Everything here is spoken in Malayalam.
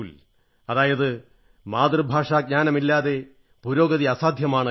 അതായത് മാതൃഭാഷാജ്ഞാനമില്ലാതെ പുരോഗതി അസാധ്യമാണ് എന്ന്